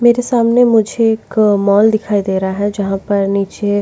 मेरे सामने मुझे एक मॉल दिखाई दे रहा है जहां पर नीचे --